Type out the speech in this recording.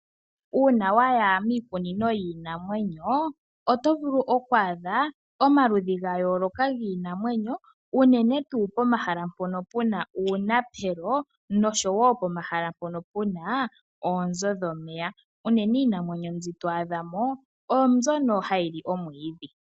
Uuna waya miikunino yiinamwenyo oto vulu okwaadha omaludhi ga yooloka giinamwenyo unene tuu pomahala mpono puna uunapelo noshowo pomahala mpono puna oonzo dhomeya, unene iinamwenyo mbi to adhamo oyo mbyono hayi li omwiidhi.